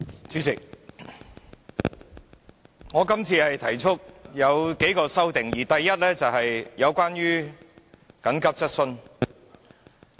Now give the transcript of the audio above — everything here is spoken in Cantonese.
主席，我今次提出了數項修訂，第一項是和緊急質詢相關。